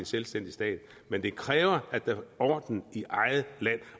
selvstændig stat men det kræver at der er orden i eget land